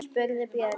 spurði Björg.